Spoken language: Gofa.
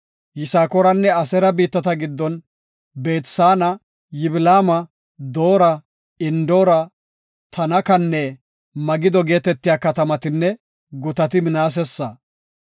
Yisakooranne Aseera biittata giddon, Beet-Saana, Yiblaama, Doora, Endoora, Tanakanne Magido geetetiya katamatinne gutati Minaasesa.